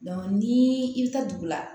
ni i bɛ taa dugu la